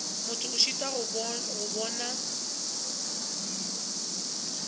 motho a šitwa go bona